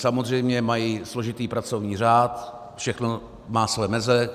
Samozřejmě mají složitý pracovní řád, všechno má svoje meze.